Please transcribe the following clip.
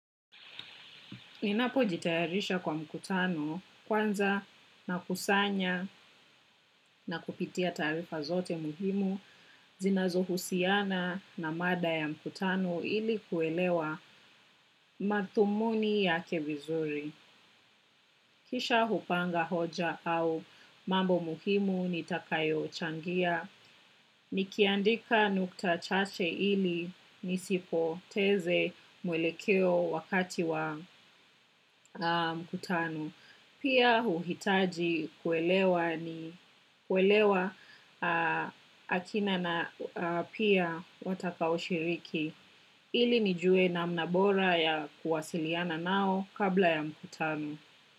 Ninapo jitayarisha kwa mkutano kwanza na kusanya na kupitia taarifa zote muhimu, zinazo husiana na mada ya mkutano ili kuelewa madhumuni yake vizuri. Kisha hupanga hoja au mambo muhimu nitakayo changia, nikiandika nukta chache ili nisipoteze mwelekeo wakati wa mkutano. Pia huhitaji kuelewa ni kuelewa akina na pia watakao shiriki ili nijue namna bora ya kuwasiliana nao kabla ya mkutano.